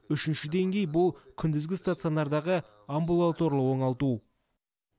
үшінші деңгей бұл күндізгі стационардағы амбулаторлы оңалту